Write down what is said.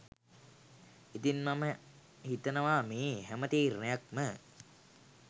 ඉතින් මම හිතනවා මේ හැම තීරණයක්ම